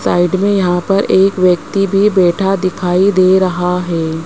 Side में यहां पर एक व्यक्ति भी बैठा दिखाई दे रहा है।